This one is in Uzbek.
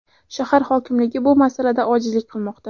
Shahar hokimligi bu masalada ojizlik qilmoqda.